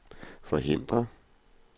forhindre